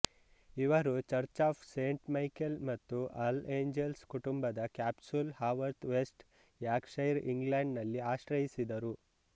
ಇವರು church of Saint Michael ಮತ್ತು all angels ಕುಟುಂಬದ ಕ್ಯಾಪ್ಸುಲ್ ಹಾವರ್ತ್ ವೆಸ್ಟ್ ಯಾರ್ಕ್ಷೈರ್ ಇಂಗ್ಲೆಂಡ್ನಲ್ಲಿ ಆಶ್ರಯಿಸಿದರು